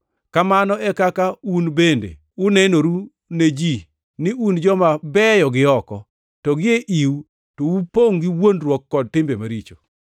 Kamano e kaka un bende unenoru ne ji ni un joma beyo gioko, to gie iu to upongʼ gi wuondruok kod timbe maricho.